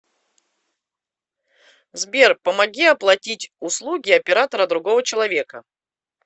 сбер помоги оплатить услуги оператора другого человека